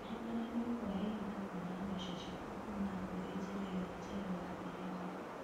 Ririkana nĩ ũkũoya ǐhinda kwona mbeca ciaku kuu̅ma kũri njĩra icio njerũ wambirĩrǐa.